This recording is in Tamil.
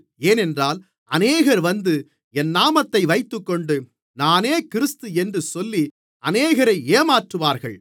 ஏனென்றால் அநேகர் வந்து என் நாமத்தை வைத்துக்கொண்டு நானே கிறிஸ்து என்று சொல்லி அநேகரை ஏமாற்றுவார்கள்